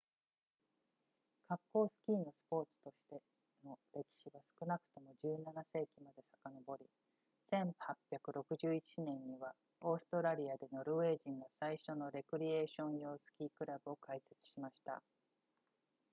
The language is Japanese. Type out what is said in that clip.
滑降スキーのスポーツとしての歴史は少なくとも17世紀にまでさかのぼり1861年にはオーストラリアでノルウェー人が最初のレクリエーション用スキークラブを開設しました